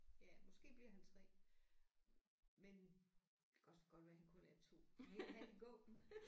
Ja måske bliver han 3 men det kan også godt være han kun er 2 men han kan gå